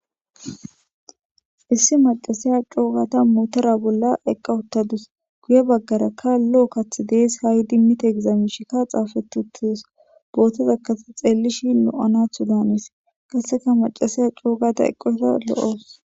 issi macasiya coogata mootora bolla eqqa uttadus guye baggarakka lo7o kath dees ha7i dimmita egizaamishika xaafetutius bootozakkate xeellishi lo7anathu daanis kasseka macasiya coogata eqqosheta lo7os